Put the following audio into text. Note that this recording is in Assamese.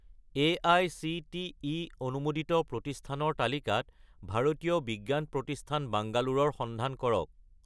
এআইচিটিই অনুমোদিত প্ৰতিষ্ঠানৰ তালিকাত ভাৰতীয় বিজ্ঞান প্ৰতিষ্ঠান বাংগালোৰ ৰ সন্ধান কৰক